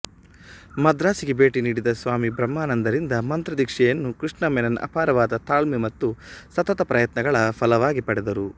ಮದ್ರಾಸಿಗೆ ಭೇಟಿ ನೀಡಿದ ಸ್ವಾಮಿ ಬ್ರಹ್ಮಾನಂದರಿಂದ ಮಂತ್ರದೀಕ್ಷೆಯನ್ನು ಕೃಷ್ಣ ಮೆನನ್ ಅಪಾರವಾದ ತಾಳ್ಮೆ ಮತ್ತು ಸತತ ಪ್ರಯತ್ನಗಳ ಫಲವಾಗೆ ಪಡೆದರು